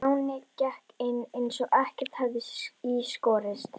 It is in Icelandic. Stjáni gekk inn eins og ekkert hefði í skorist.